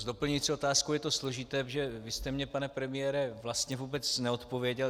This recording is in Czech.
S doplňující otázkou je to složité, protože vy jste mi, pane premiére, vlastně vůbec neodpověděl.